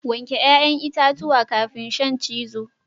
Wanke 'ya'yan itatuwa kafin shan cizo